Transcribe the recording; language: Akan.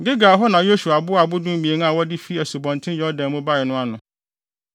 Gilgal hɔ na Yosua boaa abo dumien a wɔde fi Asubɔnten Yordan mu bae no ano.